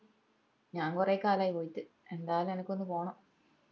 ഞാൻ കൊറേ കാലായി പോയിറ്റ് എന്താലു അനക്കൊന്ന് പോണം